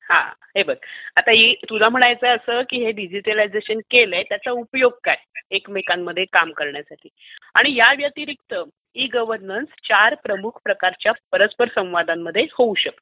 हा, हे बघ. तुला म्हणायचं आहे असं की हे डिजिटलायझेशन केलंय त्याचा उपयोग काय एकमेकांमध्ये काम करण्यासाठी आणि याव्यतिरिक्त ई गव्हर्नन्स चार प्रमुख प्रकारच्या परस्पर संवादांमध्ये होऊ शकते.